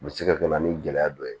U bɛ se ka kɛ na ni gɛlɛya dɔ ye